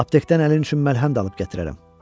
Aptekdən əlin üçün məlhəm də alıb gətirərəm.